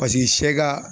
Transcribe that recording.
Paseke sɛ ka